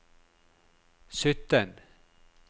sytten